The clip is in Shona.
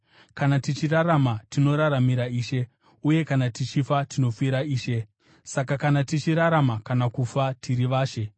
Kana tichirarama, tinoraramira Ishe; uye kana tichifa tinofira Ishe. Saka, kana tichirarama kana kufa tiri vaShe.